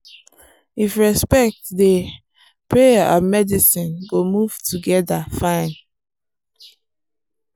if respect dey prayer and medicine go move together fine.